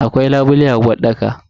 Akwai labule a uwarɗaka.